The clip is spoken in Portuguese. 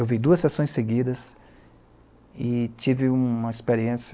Eu vi duas sessões seguidas e tive uma experiência...